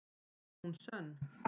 Er hún sönn?